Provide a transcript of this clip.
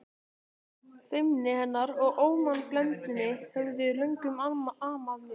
Feimni hennar og ómannblendni höfðu löngum amað mér.